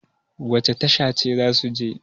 wacece Tasha za su je?